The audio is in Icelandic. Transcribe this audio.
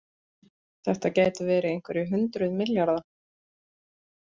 Þetta gætu verið einhverjir hundruð milljarða